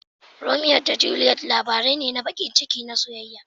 Romeo da Juliet labari ne na baƙin ciki na soyayya.